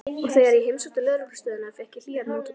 Og þegar ég heimsótti lögreglustöðina fékk ég hlýjar móttökur.